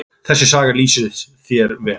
Þessi saga lýsir þér vel.